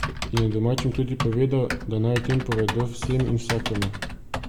In je domačim tudi povedal, da naj o tem povedo vsem in vsakemu.